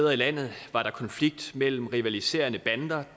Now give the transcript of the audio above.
helt